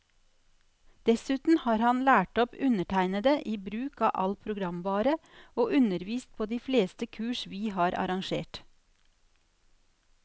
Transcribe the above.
Dessuten har han lært opp undertegnede i bruk av all programvare, og undervist på de fleste kurs vi har arrangert.